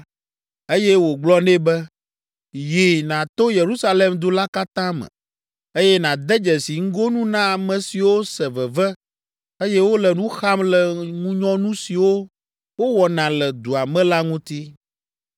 eye wògblɔ nɛ be, “Yi, nàto Yerusalem du la katã me, eye nàde dzesi ŋgonu na ame siwo se veve eye wole nu xam le ŋunyɔnu siwo wowɔna le dua me la ŋuti.”